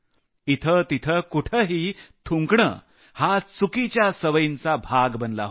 इथंतिथं कुठंही थुंकायचं हा चुकीच्या सवयींचा भाग बनला होता